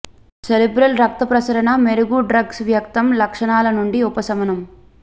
cerebral రక్త ప్రసరణ మెరుగు డ్రగ్స్ వ్యక్తం లక్షణాల నుండి ఉపశమనం